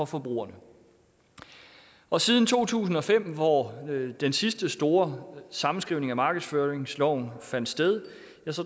forbrugere og siden to tusind og fem hvor den sidste store sammenskrivning af markedsføringsloven fandt sted